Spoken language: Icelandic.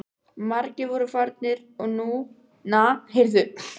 Margir voru farnir og núna var enginn hermaður í klaustrinu.